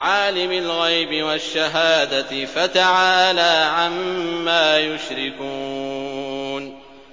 عَالِمِ الْغَيْبِ وَالشَّهَادَةِ فَتَعَالَىٰ عَمَّا يُشْرِكُونَ